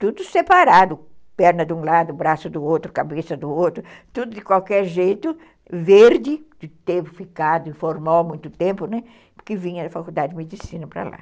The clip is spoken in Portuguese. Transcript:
Tudo separado, perna de um lado, braço do outro, cabeça do outro, tudo de qualquer jeito, verde, que teve ficado informal muito tempo, né, porque vinha da faculdade de medicina para lá.